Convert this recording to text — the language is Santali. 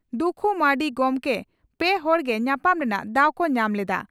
ᱫᱩᱠᱷᱩ ᱢᱟᱨᱱᱰᱤ ᱜᱚᱢᱠᱮ ᱯᱮ ᱦᱚᱲ ᱜᱮ ᱧᱟᱯᱟᱢ ᱨᱮᱱᱟᱜ ᱫᱟᱣ ᱠᱚ ᱧᱟᱢ ᱞᱮᱫᱼᱟ ᱾